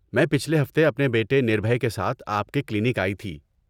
میں پچھلے ہفتے اپنے بیٹے نربھے کے ساتھ آپ کے کلینک آئی تھی۔